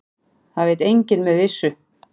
Það veit enginn með vissu.